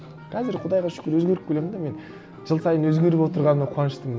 қазір құдайға шүкір өзгеріп келемін де мен жыл сайын өзгеріп отырғаныма қуаныштымын